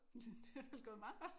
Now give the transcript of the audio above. Det er vel gået meget godt